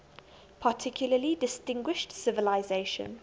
particularly distinguished civilization